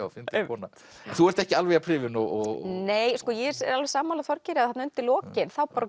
kona þú ert ekki alveg jafn hrifin og ég er alveg sammála Þorgeiri að þarna undir lokin þá